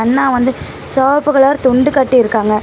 அண்ணா வந்து சிவப்பு கலர் துண்டு கட்டிருக்காங்க.